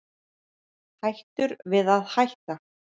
Hættur við að hætta